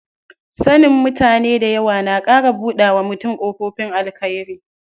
Sanin mutane dayawa na ƙara buɗawa mutum ƙofifin alkhairi.